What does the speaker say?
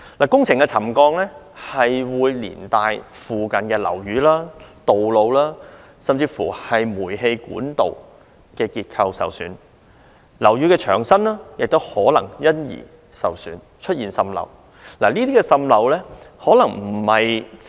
工程造成沉降會連帶影響附近樓宇、道路，甚至煤氣管道，令其結構受損；樓宇的牆身也可能因受損而出現滲漏。